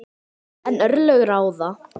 En örlög ráða.